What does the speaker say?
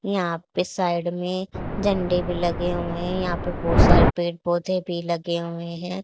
यहां पर साइड में झंडे भी लगे हुए हैं यहां पर बहुत सारे पेड़ पौधे भी लगे हुए हैं।